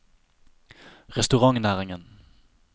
restaurantnæringen